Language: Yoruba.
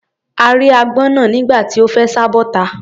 A rí agbọ́n náà nígbà tí ó fẹ́ sá bọ́ta.